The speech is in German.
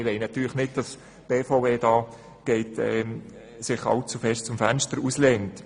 Wir wollen natürlich nicht, dass sich die BVE allzu sehr aus dem Fenster lehnt.